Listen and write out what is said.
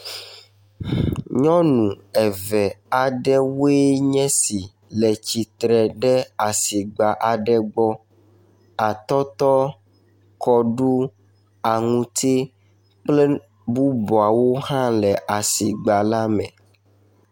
nyɔnu eve aɖewoe nye esi tsiatsitre ɖe asigba aɖe gbɔ atɔtɔ kɔɖu aŋuti kple bubuawo hã le asigba le me